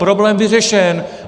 Problém vyřešen.